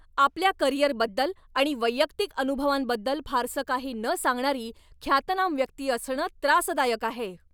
आपल्या करिअरबद्दल आणि वैयक्तिक अनुभवांबद्दल फारसं काही न सांगणारी ख्यातनाम व्यक्ती असणं त्रासदायक आहे.